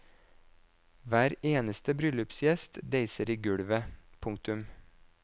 Hver eneste bryllupsgjest deiser i gulvet. punktum